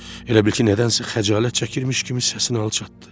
O elə bil ki, nədənsə xəcalət çəkirmiş kimi səsini alçatdı.